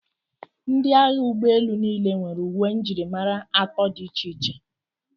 Ndị agha ụgbọelu niile nwere uwe njirimara atọ dị iche iche.